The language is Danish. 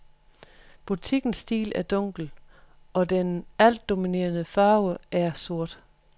Butikkens stil er dunkel, og den altdominerende farve er sort.